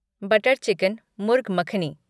butter chicken murgh makhani